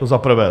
To za prvé.